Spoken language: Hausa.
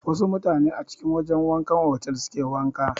Wasu mutane a cikin wajan wankan otal suke wanka.